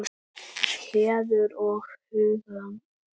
Heiður og huggun.